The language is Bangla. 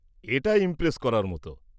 -এটা ইমপ্রেস করার মতো।